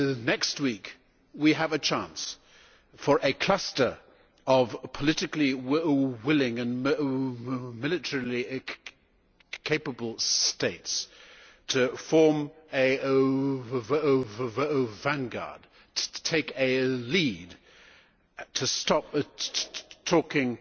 Next week we have a chance for a cluster of politically willing and militarily capable states to form a vanguard, to take the lead, to stop talking